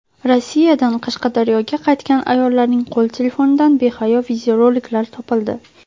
Rossiyadan Qashqadaryoga qaytgan ayollarning qo‘l telefonidan behayo videoroliklar topildi.